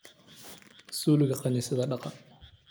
Zuulika kanisadha dhagaa.